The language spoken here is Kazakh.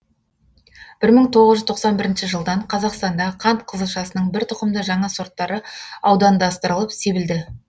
бір мың тоғыз жүз тоқсан бірінші жылдан қазақстанда қант қызылшасының бір тұқымды жаңа сорттары аудандастырылып себілді